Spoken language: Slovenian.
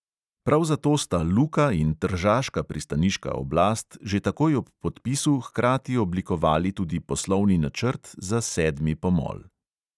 Prav zato sta luka in tržaška pristaniška oblast že takoj ob podpisu hkrati oblikovali tudi poslovni načrt za sedmi pomol.